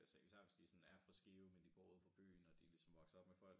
Altså især hvis de sådan er fra Skive men de bor uden for byen og de ligesom vokser op med folk der